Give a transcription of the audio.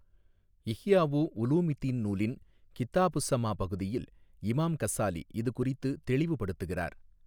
இஹ்யாவு உலூமித்தீன் நூலின் கிதாபுஸ்ஸமா பகுதியில் இமாம் கஸ்ஸாலி இது குறித்து தெளிவுபடுத்துகிறார்.